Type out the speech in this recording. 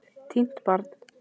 Týnt barn